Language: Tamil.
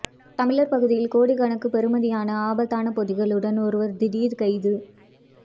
தமிழர் பகுதியில் கோடிக்கணக்கு பெறுமதியான ஆபத்தான பொதிகளுடன் ஒருவர் திடீர் கைது